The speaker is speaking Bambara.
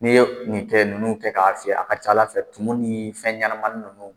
N'i ye nin fɛn ninnu kɛ k'a fiyɛ, a ka ca Ala fɛ, tuma ni fɛnɲɛnamanin ninnu